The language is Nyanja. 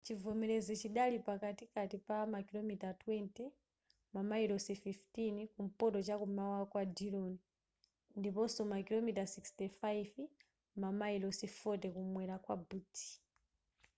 chivomerezi chidali pakatikati pa makilomita 20 mamayilosi 15 kumpoto chamkum'mawa kwa dillon ndiponso makilomita 65 mamayilosi 40 kumwera kwa butte